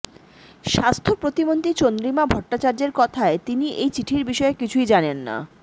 স্বাস্থ্য প্রতিমন্ত্রী চন্দ্রিমা ভট্টাচার্যের কথায় তিনি এই চিঠির বিষয়ে কিছুই জানেন না